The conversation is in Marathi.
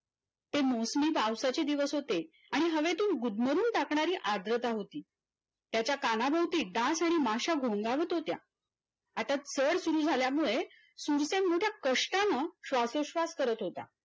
ते Mostly पावसाचे दिवस होते आणि हवेतून गुदमरून टाकणारी आद्रता होती त्याच्या कानाभोवती डास आणि माश्या घोंगावत होत्या आता चर सुरु झाल्यामुळे चुड्त्या मूळत्या कष्टानं श्वासोश्वास करत होता.